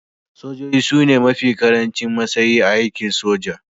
Sojoji su ne mafi karancin matsayi a aikin soja